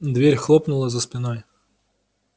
дверь хлопнула за спиной